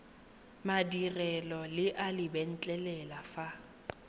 madirelo le a letlelela fa